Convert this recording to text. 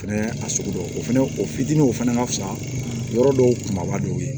Fɛnɛ a sugu dɔw o fɛnɛ o fitininw fɛnɛ ka fisa yɔrɔ dɔw kunbaba dɔw ye